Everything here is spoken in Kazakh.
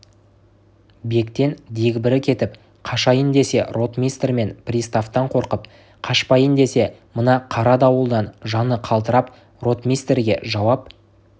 бектен дегбірі кетіп қашайын десе ротмистр мен приставтан қорқып қашпайын десе мына қара дауылдан жаны қалтырап ротмистрге жауап